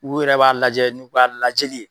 U yɛrɛ b'a lajɛ n'u k'a lajɛli ye.